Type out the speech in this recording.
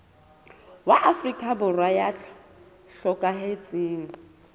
wa afrika borwa ya hlokahetseng